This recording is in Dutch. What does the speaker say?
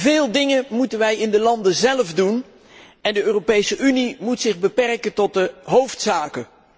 Veel dingen moeten wij in de landen zelf doen en de Europese Unie moet zich beperken tot de hoofdzaken.